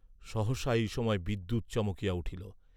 সহসা এই সময় বিদ্যুৎ চমকিয়া উঠিল।